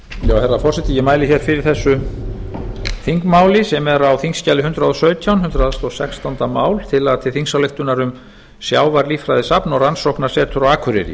herra forseti ég mæli hér fyrir þessu þingmáli sem er á þingskjali hundrað og sautján hundrað og sextándu mál tillaga til þingsályktunar um sjávarlíffræðisafn og rannsóknarsetur á akureyri